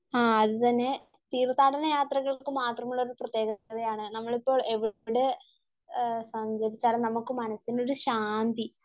ആഹ് അതുതന്നെ തീർത്ഥാടന യാത്രകൾക്ക് മാത്രമുള്ള ഒരു പ്രത്യേകത ആണ് നമ്മളിപ്പോൾ എവിടെ സഞ്ചരിച്ചാലും നമുക്ക് മനസ്സിനൊരു ശാന്തി